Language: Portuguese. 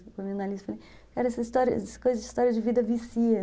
Eu falei, cara, essa história de vida vicia.